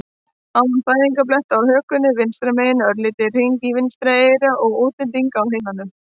an fæðingarblett á hökunni vinstra megin, örlítinn hring í vinstra eyra og útlendinga á heilanum.